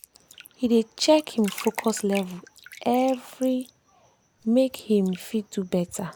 he dey check him focus level every make him for fit do better